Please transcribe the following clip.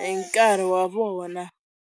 hi nkarhi wa vona.